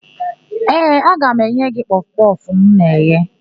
Ee, aga m enye gị kpọfụ kpọfụ m na-eghe.